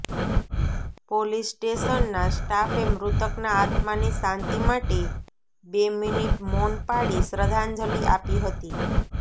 police સ્ટેશનના સ્ટાફે મૃતકના આત્માની શાંતિ માટે બે મિનિટ મૌન પાળી શ્રદ્ધાંજલિ આપી હતી